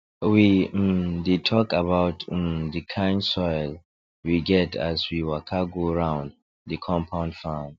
we um dey talk about um the kind soil we get as we waka go round the compound farm